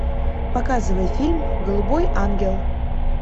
показывай фильм голубой ангел